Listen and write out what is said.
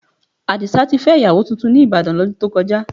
Àdìsá ti fẹ́ ìyàwó tuntun ní Ìbàdàn, lọ́dún tó kọjá.